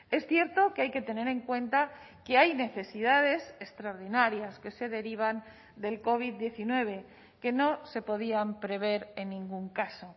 es cierto que hay que tener en cuenta que hay necesidades extraordinarias que se derivan del covid diecinueve que no se podían prever en ningún caso